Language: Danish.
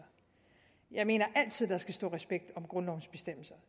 jeg mener altid at der skal stå respekt om grundlovens bestemmelser